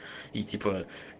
и типа